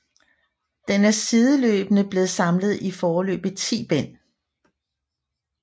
Den er sideløbende blevet samlet i foreløbig 10 bind